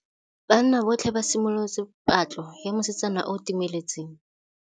Banna botlhê ba simolotse patlô ya mosetsana yo o timetseng.